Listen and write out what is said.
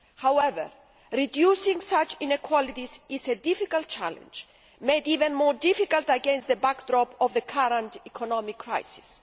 However, reducing such inequalities is a difficult challenge, and even more difficult against the backdrop of the current economic crisis.